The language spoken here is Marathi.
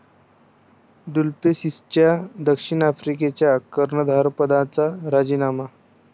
डुप्लेसिसचा दक्षिण आफ्रिकेच्या कर्णधारपदाचा राजीनामा